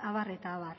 abar eta abar